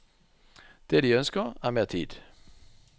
Det de ønsker er mer tid.